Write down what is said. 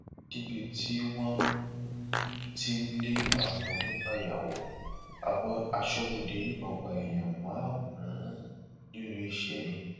níbi tí wọn um ti ń lé àwọn onífàyàwọ aṣọbodè yìnbọn pa èèyàn márùnún um nílùú isẹyìn